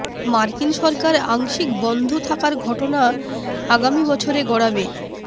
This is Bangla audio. মার্কিন সরকার আংশিক বন্ধ থাকার ঘটনা আগামী বছরে গড়াবে